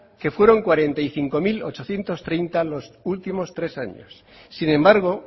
que fueron cuarenta y cinco mil ochocientos treinta los últimos tres años sin embargo